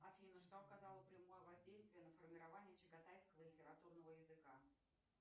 афина что оказало прямое воздействие на формирование чагатайского литературного языка